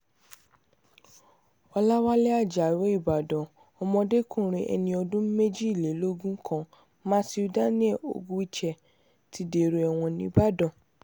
ọ̀làwálẹ̀ ajáò ìbàdàn ọmọdékùnrin ẹni ọdún méjìlélógún kan matthew daniel ogwuche ti dèrò ẹ̀wọ̀n nìbàdàn